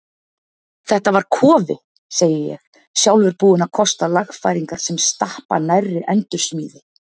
Þetta var kofi, segi ég, sjálfur búinn að kosta lagfæringar sem stappa nærri endursmíði.